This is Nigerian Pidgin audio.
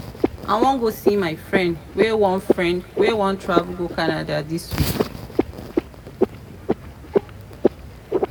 i wan go see my friend wey wan friend wey wan travel go canada dis week